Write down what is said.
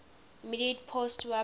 immediate postwar period